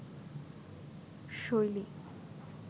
শৈলী